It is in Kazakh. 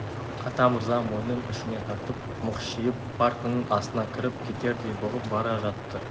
атамырза мойнын ішіне тартып мықшиып партаның астына кіріп кетердей бұғып бара жатты